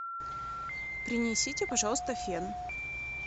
принесите пожалуйста фен